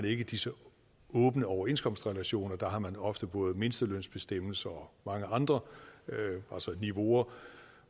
ikke disse åbne overenskomstrelationer der har man ofte både mindstelønsbestemmelser og mange andre niveauer